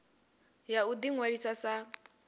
ya u ḓi ṅwalisa sa